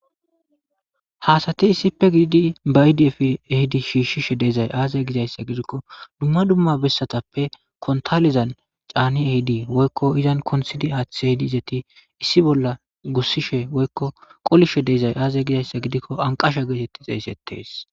Hasati issippe gididi bayidiyefi ehidi shiishshishe dezay aazay gizayssa gidikko dumma dumma bessatappe kontalizan caani ehidi woykko izan konsidi aathiehidi izeti issi bolla gussishe woykko qolishe deezay aazay gizayssa gidikko anqasha geetetti xeeysettees.